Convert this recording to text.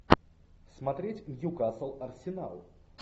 смотреть ньюкасл арсенал